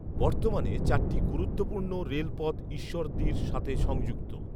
বর্তমানে চারটি গুরুত্বপূর্ণ রেলপথ ঈশ্বরদীর সাথে সংযুক্ত